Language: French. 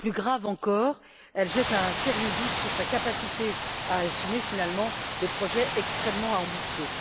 Plus grave encore, elle jette un sérieux doute sur sa capacité à assumer finalement des projets extrêmement ambitieux.